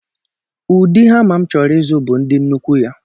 Ụdị hama m chọrọ ịzụ bụ ndị nnukwu ya